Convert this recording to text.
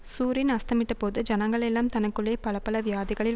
சூரியன் அஸ்தமித்தபோது ஜனங்களெல்லாம் தனக்குள்ளே பலபல வியாதிகளில்